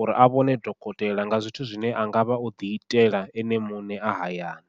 uri a vhone dokotela nga zwithu zwine a ngavha o ḓi itela ene muṋe a hayani.